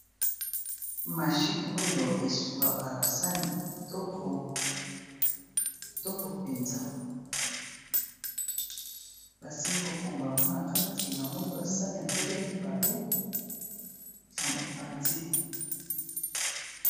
Mashini oyo e sukolaka ba sani kitoko, kitoko penza, Ba sili ko fungola yango na kati, na moni ba sani ya mbele mibale na mopanzi .